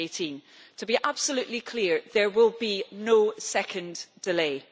2018 to be absolutely clear, there will be no second delay.